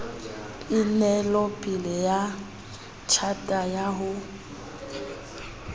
onelopele ya tjhata ya ho